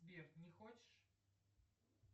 сбер не хочешь